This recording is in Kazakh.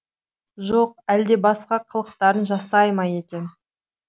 жоқ әлде басқа қылықтарын жасай ма екен